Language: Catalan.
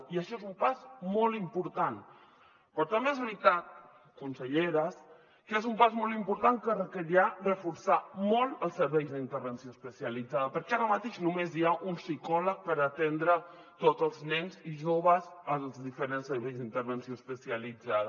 i això és un pas molt important però també és veritat consellera que és un pas molt important que requerirà reforçar molt els serveis d’intervenció especialitzada perquè ara mateix només hi ha un psicòleg per atendre tots els nens i joves als diferents serveis d’intervenció especialitzada